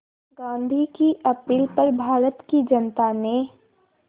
गांधी की अपील पर भारत की जनता ने